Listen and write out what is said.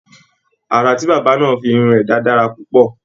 Àrà tí bàbá náà fi irun rẹ dá dára púpọ̀.